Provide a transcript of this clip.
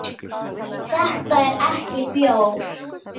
Þetta er ekki bjór.